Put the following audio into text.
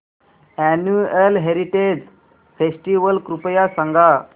annual heritage festival कृपया सांगा